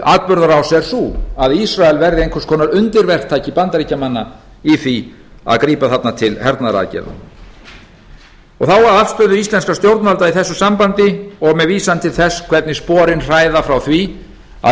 atburðarás er sú að ísrael verði eins konar undirverktaki bandaríkjamanna í því að grípa þarna til hernaðaraðgerða þá að afstöðu íslenskra stjórnvalda í þessu sambandi og með vísan til þess hvernig sporin hræða frá því að